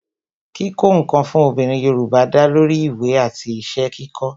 kíkó ǹkan fún obìnrin Yorùbá da lori ìwé àti iṣẹ́ kíkó